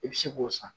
I bɛ se k'o san